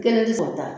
Kelen ti se ka taa